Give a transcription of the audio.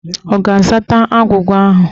Ọ ga-azata agwụgwa ahụ?